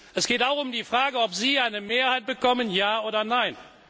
Es geht auch um die Frage, ob Sie eine Mehrheit bekommen ja oder nein?